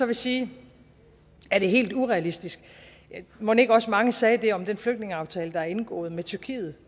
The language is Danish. vil sige er det helt urealistisk mon ikke også mange sagde det om den flygtningeaftale der er indgået med tyrkiet